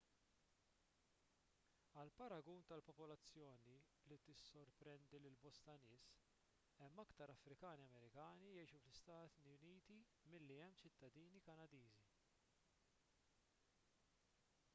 għal paragun tal-popolazzjoni li tissorprendi lil bosta nies hemm aktar afrikani amerikani jgħixu fl-istati uniti milli hemm ċittadini kanadiżi